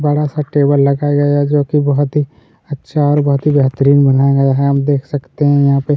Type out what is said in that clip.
बड़ा सा टेबल लगाया गया है जो की बहुत ही अच्छा और बहुत ही बेहतरीन बनाया गया है आप देख सकते हैं यहाँ पे --